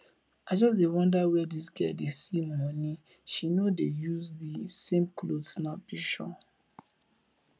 i just dey wonder where dis girl dey see money she no dey use the same cloth snap pishure